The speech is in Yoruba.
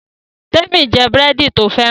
Temi n jé búrẹ́dì to fẹ́ràn